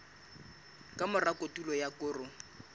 ka mora kotulo ya koro